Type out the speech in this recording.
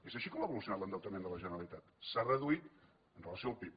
és així com ha evolucionat l’endeutament de la generalitat s’ha reduït amb relació al pib